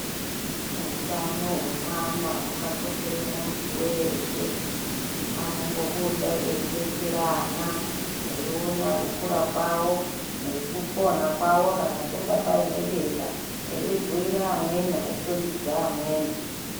Utano hwevana hwakakoshera muntu weshe anombobude eidetsera ana, eiona kukura kwawo nekupona kwawo, kana panga paine denda eibhuyira amweni eikhombidza amweni.